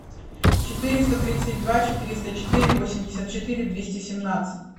четыреста тридцать два четыреста четыре восемьдесят четыре двести семнадцать